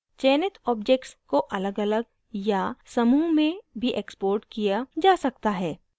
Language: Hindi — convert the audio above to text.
चयनित objects को अलगअलग या समूह में भी exported किया जा सकता है